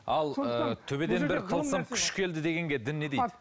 ал ы төбеден бір тылсым күш келді дегенге дін не дейді